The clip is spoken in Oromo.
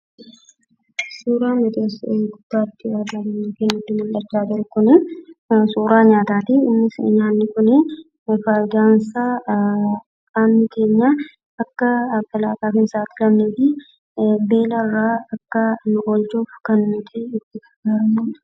Suuraan nuti asitti argaa jirru suuraa nyaataati. Innis nyaanni kun fayidaansaa afaan keenya foolii hin godhannee fi beelarraa kan nu oolchudha.